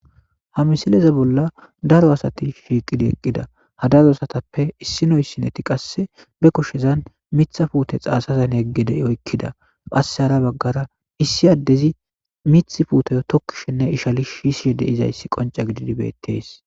Ha misileze bolla daro asati shiiqidi eqqida hadarosatappe issinoy sineti qasse be koshezan mitha puute xaasazan yeggede'i oykkida qasse hara baggara issi addezi mith puuteyo tokkishinne ishali shiishie deizayssi qonca gididibettees.